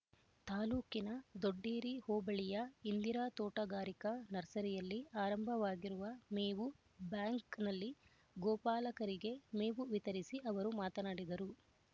ತಾಲ್ಲೂಕಿನ ದೊಡ್ಡೇರಿ ಹೋಬಳಿಯ ಇಂದಿರಾ ತೋಟಗಾರಿಕಾ ನರ್ಸರಿಯಲ್ಲಿ ಆರಂಭವಾಗಿರುವ ಮೇವು ಬ್ಯಾಂಕ್‌ನಲ್ಲಿ ಗೋಪಾಲಕರಿಗೆ ಮೇವು ವಿತರಿಸಿ ಅವರು ಮಾತನಾಡಿದರು